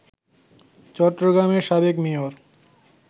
চট্টগ্রামের সাবেক মেয়র